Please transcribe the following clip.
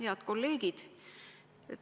Head kolleegid!